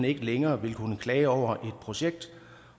ikke længere vil kunne klage over projekt